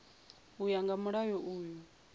u ya nga mulayo uyu